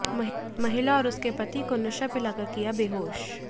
महिला और उसके पति को नशा पिलाकर किया बेहोश